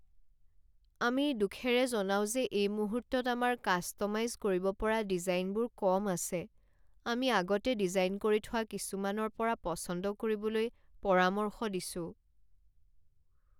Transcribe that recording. আমি দুখেৰে জনাও যে এই মুহূৰ্তত আমাৰ কাষ্ট'মাইজ কৰিব পৰা ডিজাইনবোৰ কম আছে। আমি আগতে ডিজাইন কৰি থোৱা কিছুমানৰ পৰা পচন্দ কৰিবলৈ পৰামৰ্শ দিছোঁ।